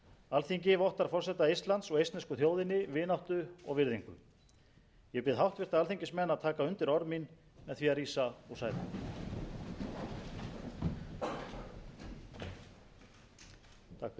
alþingi vottar forseta eistlands og eistnesku þjóðinni vináttu og virðingu ég bið háttvirta alþingismenn að taka undir orð mín með því að rísa úr sætum